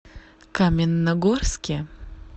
каменногорске